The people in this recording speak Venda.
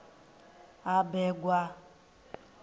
habegwa